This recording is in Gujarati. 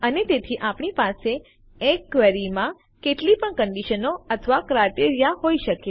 અને તેથી આપણી પાસે એક ક્વેરીમાં કેટલી પણ કંડીશનો અથવા ક્રાઈટેરીયા હોઈ શકે